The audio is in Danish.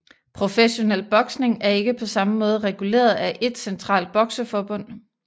Professionel boksning er ikke på samme måde reguleret af ét centralt bokseforbund